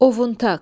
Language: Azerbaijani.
Ovuntaq.